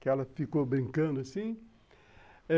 Que ela ficou brincando assim.